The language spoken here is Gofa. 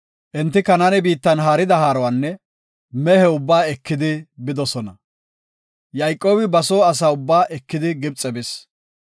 Enti Kanaane biittan haarida haaruwanne mehe ubbaa eki bidosona. Yayqoobi ba soo asa ubbaa ekidi Gibxe bis.